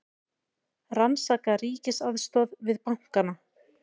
Rannsaka ríkisaðstoð við bankana